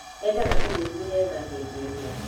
endaga tũmũiguĩre tha hĩndĩ ĩrĩa